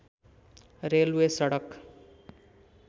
railway सडक